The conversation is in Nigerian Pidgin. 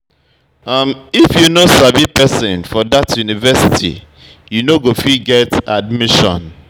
If you no sabi pesin for dat university, you no go fit get admission.